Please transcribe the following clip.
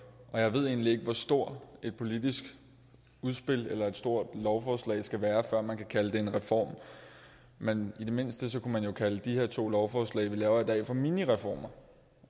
jeg ved egentlig ikke hvor stort et politisk udspil eller hvor stort et lovforslag skal være før man kan kalde det en reform men i det mindste kunne man jo kalde de her to lovforslag vi laver i dag for minireformer